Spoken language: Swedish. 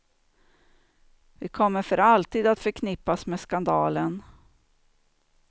Vi kommer för alltid att förknippas med skandalen.